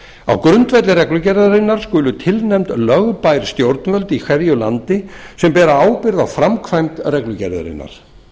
á grundvelli reglugerðarinnar skulu tilnefnd lögbær stjórnvöld í hverju landi sem bera ábyrgð á framkvæmd reglugerðarinnar